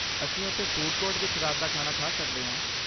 ਅਸੀਂ ਉੱਥੇ food court ਵਿੱਚ ਰਾਤ ਦਾ ਖਾਣਾ ਖਾ ਸਕਦੇ ਹਾਂ।